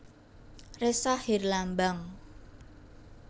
Ressa Herlambang